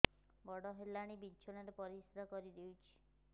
ବଡ଼ ହେଲାଣି ବିଛଣା ରେ ପରିସ୍ରା କରିଦେଉଛି